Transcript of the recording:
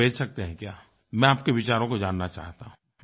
मुझे भेज सकते हैं क्या मैं आपके विचारों को जानना चाहता हूँ